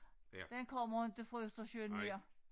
Den kommer inte fra Østersøen mere